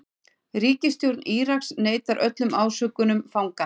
Ríkisstjórn Íraks neitar öllum ásökunum fanganna